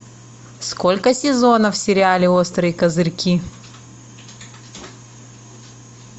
сколько сезонов в сериале острые козырьки